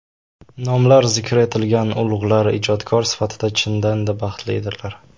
nomlari zikr etilgan ulug‘lar ijodkor sifatida chindan-da baxtlidirlar.